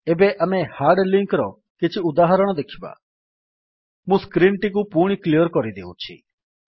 ଏବେ ଆମେ hard link ର କିଛି ଉଦାହରଣ ଦେଖିବା ମୁଁ ସ୍କ୍ରୀନ୍ ଟିକୁ ପୁଣି କ୍ଲିଅର୍ କରିଦେଉଛି